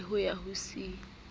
b le ho ya c